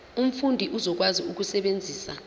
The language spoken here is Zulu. umfundi uzokwazi ukusebenzisa